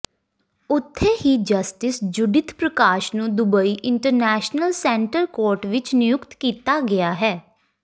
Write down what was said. ਉਥੇ ਹੀ justice Judith Prakash ਨੂੰ ਦੁਬਈ ਇੰਟਰਨੈਸ਼ਨਲ ਸੈਂਟਰ ਕੋਰਟ ਵਿਚ ਨਿਯੁਕਤ ਕੀਤਾ ਗਿਆ ਹੈ